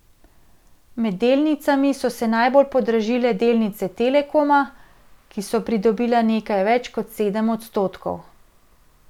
Med delnicami so se najbolj podražile delnice Telekoma, ki so pridobile nekaj več kot sedem odstotkov.